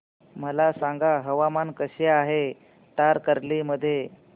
मला सांगा हवामान कसे आहे तारकर्ली मध्ये